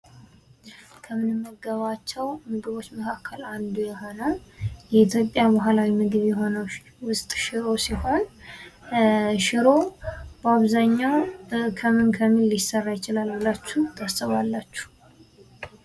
ከምንመገባቸው ምግቦች መካከል አንዱ የሆነው የኢትዮጵያ ባህላዊ ምግብ የሆነው ውስጥ ሽሮ ሲሆን ሽሮ በአብዛኛው ከምን ከምን ሊሰራ ይችላል ብላቺሁ ታስባላችሁ።